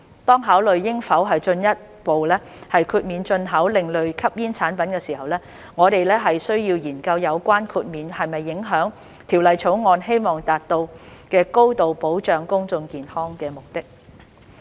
當考慮應否進一步豁免進口另類吸煙產品時，我們須研究有關的豁免會否影響《條例草案》希望達到高度保障公眾健康的目的。